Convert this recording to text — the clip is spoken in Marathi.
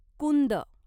कुंद